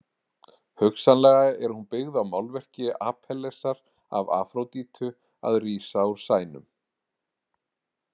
Hugsanlega er hún byggð á málverki Apellesar af Afródítu að rísa úr sænum.